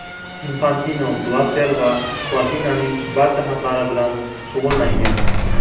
Infantino Blatter va Platinining barcha xatlari bilan shug‘ullangan.